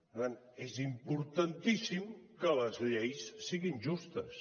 per tant és importantíssim que les lleis siguin justes